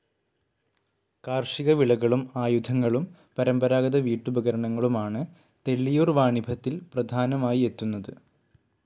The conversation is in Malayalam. കാർഷിക വിളകളും ആയുധങ്ങളും പരമ്പരാഗത വീട്ടുപകരണങ്ങളും ആണ് തെള്ളിയൂർ വാണിഭത്തിൽ പ്രധാനമായി എത്തുന്നത്.